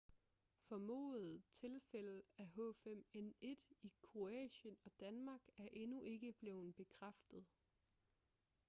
formodede tilfælde af h5n1 i kroatien og danmark er endnu ikke blevet bekræftet